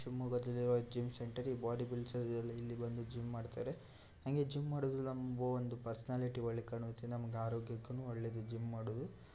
ಶಿವಮೊಗ್ಗದಲ್ಲಿರುವ gym centre ಈ body builders ಇಲ್ಲಿ ಬಂದು ಜಿಮ್ ಮಾಡ್ತಾರೆ ಹಂಗೆ ಜಿಮ್ ಮಾಡೋದೆಲ್ಲ ಎಂಬೊ ಒಂದು ಪರ್ಸನಾಲಿಟಿ ಒಳ್ಳೆದ್ ಕಾಣುತ್ತೆ ನಮಗೆ ಆರೋಗ್ಯಕ್ಕುನ್ನು ಒಳ್ಳೆದು ಜಿಮ್ ಮಾಡೋದು.